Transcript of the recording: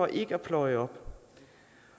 ikke at pløje op